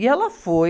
E ela foi.